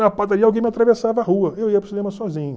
Na padaria, alguém me atravessava a rua, e eu ia para o cinema sozinho.